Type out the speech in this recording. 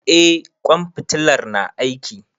Eh ƙwan fitalar na aiki.